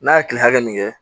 N'a ye kile hakɛ min kɛ